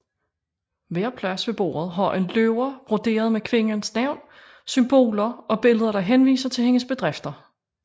Hver plads ved bordet har en løber broderet med kvindens navn og symboler og billeder der henviser til hendes bedrifter